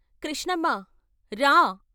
కృష్ణమ్మ "రా.....